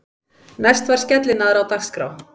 Næst var skellinaðra á dagskrá.